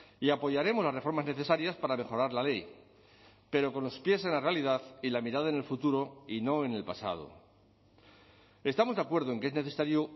y apoyaremos las reformas necesarias para mejorar la ley pero con los pies en la realidad y la mirada en el futuro y no en el pasado estamos de acuerdo en que es necesario